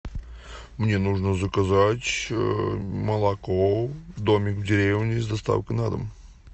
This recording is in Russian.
мне нужно заказать молоко домик в деревне с доставкой на дом